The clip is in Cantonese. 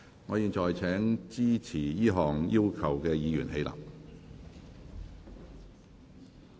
我現在請支持這項要求的議員起立。